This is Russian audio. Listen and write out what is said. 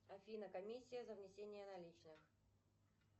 афина комиссия за внесение наличных